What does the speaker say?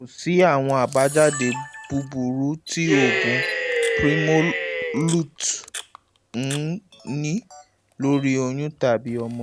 kò sí àwọn àbájáde búburú tí oògùn primolut n ní lórí oyún tàbí ọmọ inú